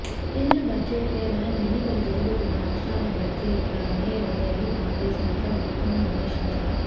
కేంద్ర బడ్జెట్ కేవలం ఎన్నికలు జరుగుతున్న రాష్ట్రాల బడ్జెట్లానే ఉందని కాంగ్రెస్ నేత ఉత్తమ్ విమర్శించారు